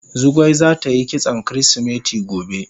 Zugwai zata yi kitson kirisimeti gobe.